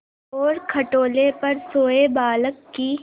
और खटोले पर सोए बालक की